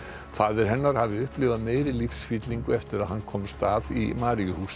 faðir hennar hafi upplifað meiri lífsfyllingu eftir að hann komst að í